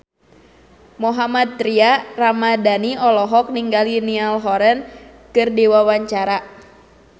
Mohammad Tria Ramadhani olohok ningali Niall Horran keur diwawancara